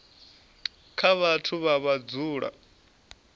kha vhathu vhane vha dzula